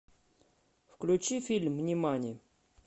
включи фильм нимани